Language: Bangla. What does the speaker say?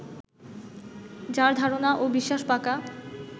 যাঁর ধারণা ও বিশ্বাস পাকা